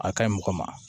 A ka ɲi mɔgɔ ma